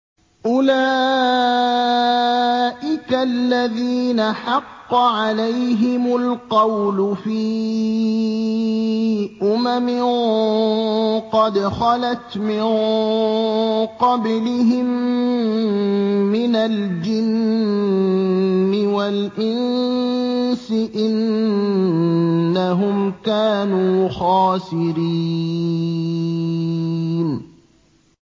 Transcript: أُولَٰئِكَ الَّذِينَ حَقَّ عَلَيْهِمُ الْقَوْلُ فِي أُمَمٍ قَدْ خَلَتْ مِن قَبْلِهِم مِّنَ الْجِنِّ وَالْإِنسِ ۖ إِنَّهُمْ كَانُوا خَاسِرِينَ